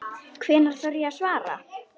Hvenær þarf ég að svara?